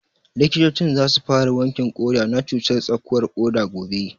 Likitocin za su fara wankin ƙoda na cutar tsakuwar ƙoda gobe